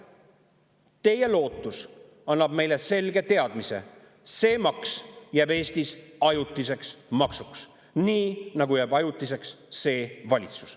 Teie lootus annab meile selge teadmise, et see maks jääb Eestis ajutiseks maksuks, nii nagu jääb ajutiseks see valitsus.